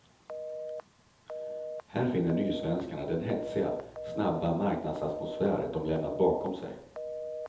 Här finner nysvenskarna den hetsiga, snabba marknadsatmosfär de lämnat bakom sig.